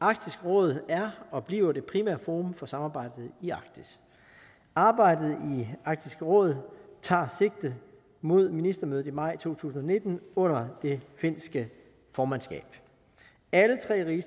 arktisk råd er og bliver det primære forum for samarbejdet i arktis arbejdet i arktisk råd tager sigte mod ministermødet i maj to tusind og nitten under det finske formandskab alle tre